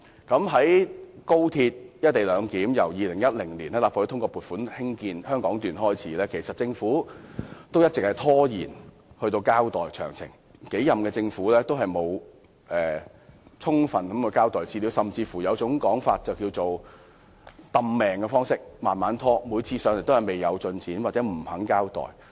自從立法會於2010年通過撥款興建廣深港高鐵香港段，政府便一直拖延交代"一地兩檢"的詳情，多任政府均沒有充分交代資料，有人甚至懷疑政府刻意拖延，官員每次前來立法會都只說方案未有進展，又或不肯交代。